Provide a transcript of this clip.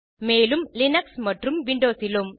மேலும் லினக்ஸ் மற்றும் விண்டோஸ் இலும்